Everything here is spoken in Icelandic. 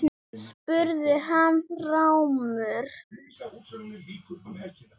spurði hann rámur.